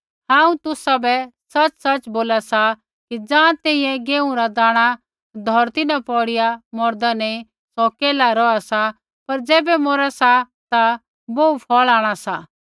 हांऊँ तुसाबै सच़सच़ बोला सा कि ज़ाँ तैंईंयैं गेहूँ रा दाणा धौरती न पौड़ीया मौरदा नैंई सौ केल्हाऐ रौहा सा पर ज़ैबै मौरा सा ता बोहू फ़ौल़ आंणा सा होर मूँ सैंघै बी ऐण्ढा होंणा